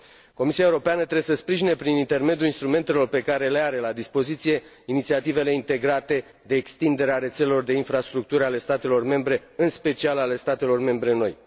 Comisia Europeană trebuie să sprijine, prin intermediul instrumentelor pe care le are la dispoziție, inițiativele integrate de extindere a rețelelor de infrastructuri ale statelor membre, în special ale statelor membre noi.